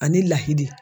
Ani ladiri